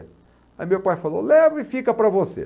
Aí meu pai falou, leva e fica para você.